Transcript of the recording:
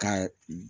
Ka